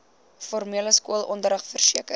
formele skoolonderrig verseker